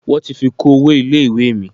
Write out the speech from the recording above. Wọ́n ti fi kún owó ilé ìwé mi.